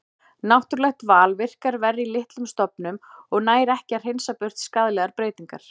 Náttúrulegt val virkar verr í litlum stofnum og nær ekki að hreinsa burt skaðlegar breytingar.